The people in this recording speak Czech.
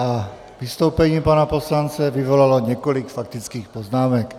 A vystoupení pana poslance vyvolalo několik faktických poznámek.